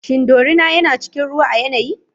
Shin dorina yana cikin ruwa a yanayi?